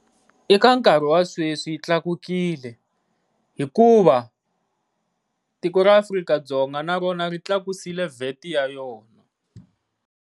Eka nkarhi wa sweswi yi tlakukile hikuva tiko ra Afrika-Dzonga na rona ri tlakuse VAT ya yona.